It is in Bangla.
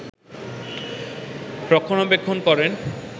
রক্ষণাবেক্ষন করেন